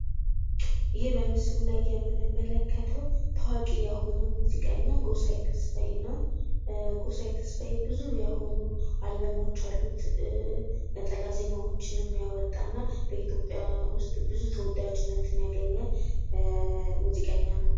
ይህ በምስሉ የምንመለከተው ታዋቂ የሆነው ሙዚቀኛ ጎሳየ ተስፋዬ ነው። ጎሳየ ተስፋዬ ብዙ የሆኑ አልበሞች አሉት። ነጠላ ዜማዎችንም ያወጣና በኢትዮጵያ ውስጥ ብዙ ተወዳጅነትን ያገኘ ሙዚቀኛ ነው።